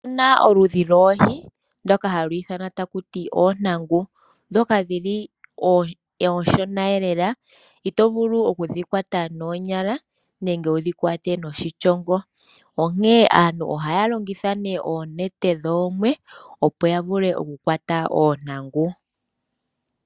Opuna oludhi lwoohi ndhoka hadhi ithanwa takuti oontangu. Ndhoka dhili oonshona lela, ito vulu okudhi kwata noonyala, nenge wudhi kwate noshishongo, onkene aantu ohaya longitha oonete dhoomwe opo ya vule oku kwata oontangu.